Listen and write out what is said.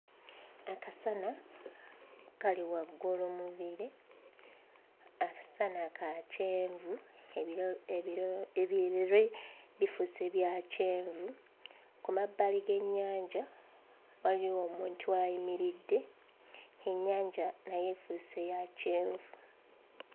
Akasana kali waggulu mu bire. Akasana ka kyenvu, ebire ebire bifuuse bya kyenvu. Ku mabbali g'ennyanja waliwo omuntu ayimiridde. Ennyanja nayo efuuse ya kyenvu.